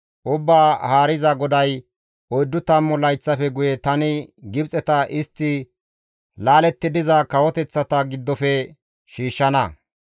«Ubbaa Haariza GODAY, ‹Oyddu tammu layththafe guye tani Gibxeta istti laaletti diza kawoteththata giddofe shiishshana.